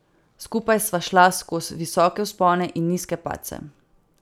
Skupaj sva šla skoz visoke vzpone in nizke padce.